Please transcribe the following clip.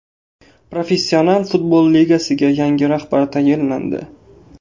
Professional futbol ligasiga yangi rahbar tayinlandi.